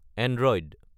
Android